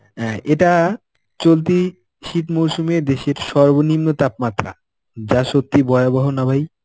অ্যাঁ এটা চলতি শীত মরসুমে দেশের সর্বনিম্ন তাপমাত্রা. যা সত্যিই ভয়াবহ না ভাই.